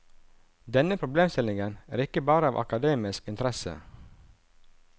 Denne problemstillingen er ikke bare av akademisk interesse.